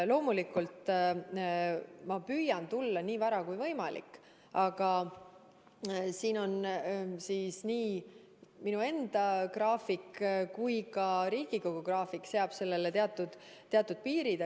Loomulikult ma püüan tulla nii vara kui võimalik, aga nii minu enda graafik kui ka Riigikogu graafik seab sellele teatud piirid.